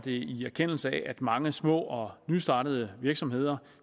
i erkendelse af at mange små og nystartede virksomheder